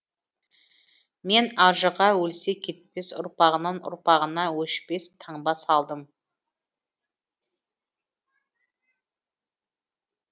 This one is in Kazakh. мен ажыға өлсе кетпес ұрпағынан ұрпағына өшпес таңба салдым